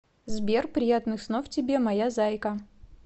сбер приятных снов тебе моя зайка